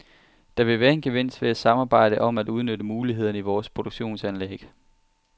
Der vil være en gevinst ved at samarbejde om at udnytte mulighederne i vores produktionsanlæg.